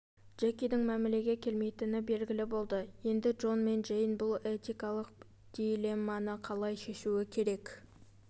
джекидің мәмілеге келмейтіні белгілі болды енді джон мен джейн бұл этикалық дилемманы қалай шешуі керек